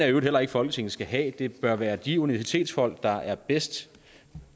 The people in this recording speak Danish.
i øvrigt heller ikke folketinget skal have det bør være de universitetsfolk der er bedst